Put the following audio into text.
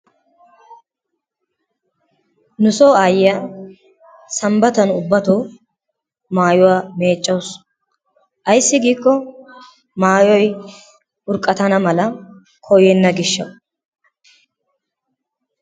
Nusoo aayiya sanbbattan ubbatto maayuwa meeccawusu. Ayssi giikko maayoy urqqattana mala koyenna gishshawu.